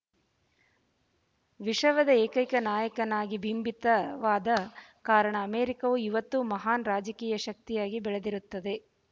ವಿಶವದೆ ಏಕೈಕ ನಾಯಕನಾಗಿ ಬಿಂಬಿತವಾದ ಕಾರಣ ಅಮೇರಿಕಾವು ಇವತ್ತು ಮಹಾನ್ ರಾಜಕೀಯ ಶಕ್ತಿಯಾಗಿ ಬೆಳದಿರುತ್ತದೆ